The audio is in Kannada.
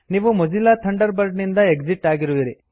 ನೀವು ಮೊಜಿಲ್ಲಾ ಥಂಡರ್ಬರ್ಡ್ ನಿಂದ ಎಕ್ಸಿಟ್ ಆಗುವಿರಿ